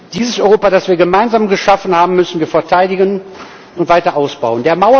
Dieses Europa, das wir gemeinsam geschaffen haben, müssen wir verteidigen und weiter ausbauen.